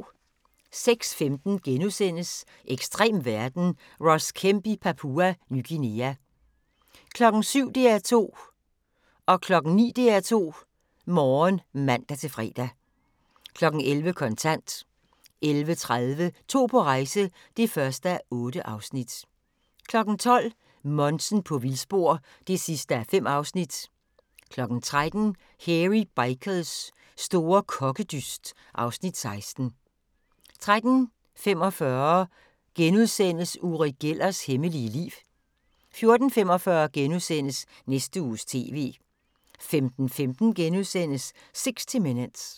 06:15: Ekstrem verden – Ross Kemp i Papua Ny Guinea * 07:00: DR2 Morgen (man-fre) 09:00: DR2 Morgen (man-fre) 11:00: Kontant 11:30: To på rejse (1:8) 12:00: Monsen på vildspor (5:5) 13:00: Hairy Bikers store kokkedyst (Afs. 16) 13:45: Uri Gellers hemmelige liv * 14:45: Næste Uges TV * 15:15: 60 Minutes *